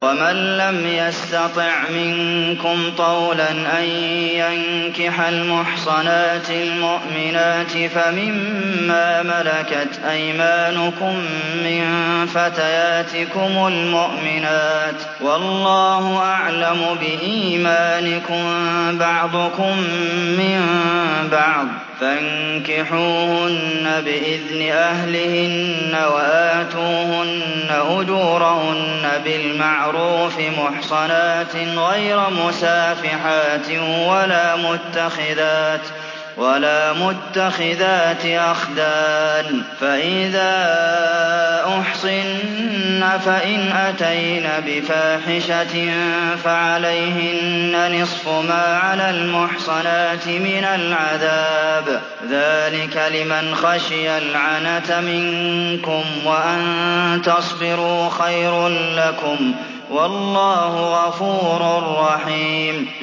وَمَن لَّمْ يَسْتَطِعْ مِنكُمْ طَوْلًا أَن يَنكِحَ الْمُحْصَنَاتِ الْمُؤْمِنَاتِ فَمِن مَّا مَلَكَتْ أَيْمَانُكُم مِّن فَتَيَاتِكُمُ الْمُؤْمِنَاتِ ۚ وَاللَّهُ أَعْلَمُ بِإِيمَانِكُم ۚ بَعْضُكُم مِّن بَعْضٍ ۚ فَانكِحُوهُنَّ بِإِذْنِ أَهْلِهِنَّ وَآتُوهُنَّ أُجُورَهُنَّ بِالْمَعْرُوفِ مُحْصَنَاتٍ غَيْرَ مُسَافِحَاتٍ وَلَا مُتَّخِذَاتِ أَخْدَانٍ ۚ فَإِذَا أُحْصِنَّ فَإِنْ أَتَيْنَ بِفَاحِشَةٍ فَعَلَيْهِنَّ نِصْفُ مَا عَلَى الْمُحْصَنَاتِ مِنَ الْعَذَابِ ۚ ذَٰلِكَ لِمَنْ خَشِيَ الْعَنَتَ مِنكُمْ ۚ وَأَن تَصْبِرُوا خَيْرٌ لَّكُمْ ۗ وَاللَّهُ غَفُورٌ رَّحِيمٌ